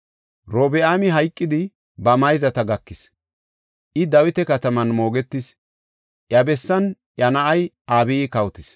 Robi7aami hayqidi ba mayzata gakis; I Dawita kataman moogetis. Iya bessan iya na7ay Abiyi kawotis.